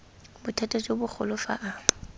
bothata jo bogolo fa a